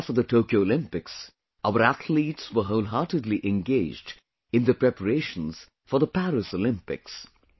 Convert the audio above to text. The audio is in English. Right after the Tokyo Olympics, our athletes were whole heartedly engaged in the preparations for the Paris Olympics